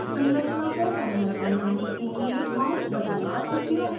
संरचना को पैनल पर लाने के लिए माउस बटन का उपयोग करें